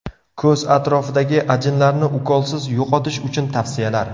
Ko‘z atrofidagi ajinlarni ukolsiz yo‘qotish uchun tavsiyalar.